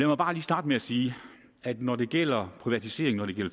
mig bare lige starte med at sige at når det gælder privatisering hvad